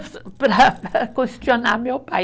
para questionar meu pai.